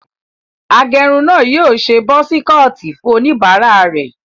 Agẹrun náà yóò ṣe busi kọọtì fún olúbàarà rẹ̀.